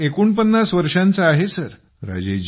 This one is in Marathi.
मी एकोणपन्नास वर्षांचा आहे सर